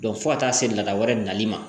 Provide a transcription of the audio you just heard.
fo ka taa se lada wɛrɛ nali ma